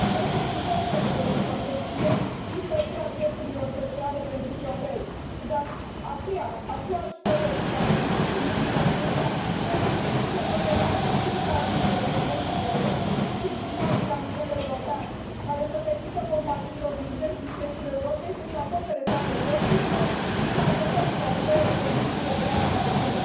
Este evident că ne dorim protecție și întărirea drepturilor sociale pentru șoferi, dar aceiași colegi care susțin lucrurile acestea trebuie să susțină, totodată, și un tarif pe kilometru corect și echitabil la nivel european, care să permită companiilor din centrul și estul Europei să își acopere toate costurile și, într adevăr, să ofere condiții sociale mai bune.